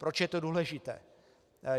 Proč je to důležité?